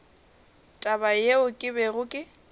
taba yeo ke bego ke